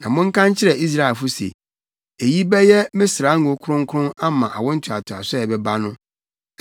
Na monka nkyerɛ Israelfo se, ‘Eyi bɛyɛ me srango kronkron ama awo ntoatoaso a ɛbɛba no.